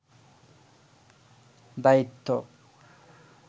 দায়িত্ব